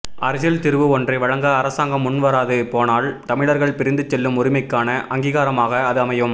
அரசியல் தீர்வு ஒன்றை வழங்க அரசாங்கம் முன்வராது போனால் தமிழர்கள் பிரிந்து செல்லும் உரிமைக்கான அங்கீகாரமாக அது அமையும்